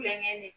Kulonkɛ